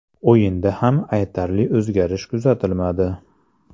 O‘yinda ham aytarli o‘zgarish kuzatilmadi.